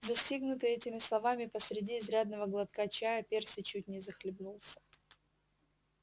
застигнутый этими словами посреди изрядного глотка чая перси чуть не захлебнулся